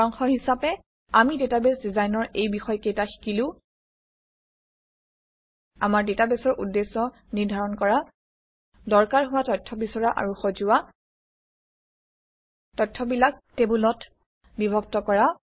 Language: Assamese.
সাৰাংশ হিচাপে আমি ডাটাবেছ ডিজাইনৰ এই বিষয়কেইটা শিকিলো আমাৰ ডাটাবেছৰ উদ্দেশ্য নিৰ্ধাৰণ কৰা দৰকাৰ হোৱা তথ্য বিচৰা আৰু সজোৱা তথ্যবিলাক টেবুলত বিভক্ত কৰা